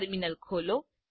terminal ખોલો